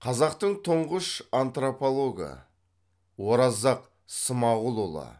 қазақтың тұңғыш антропологы оразақ смағұлұлы